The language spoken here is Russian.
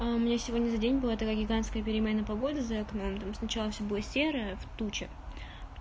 а у меня сегодня за день была такая гигантская переменная погода за окном там сначала всё было серое в туче